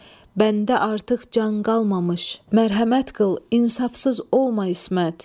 Bəndə artıq can qalmamış, mərhəmət qıl, insafsız olma İsmət.